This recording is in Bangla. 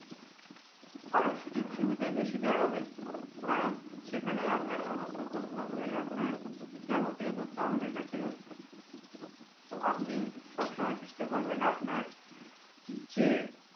আরো সুযোগ সুবিধে বেশি দেয়াও হবে কারণ সেখানে আপনার সমস্ত তথ্য গুলি আপনার যাবতীয় তথ্য আমাদের কাছে রয়েছে তো আপনি সবসময় চেষ্টা করবেন আপনার যে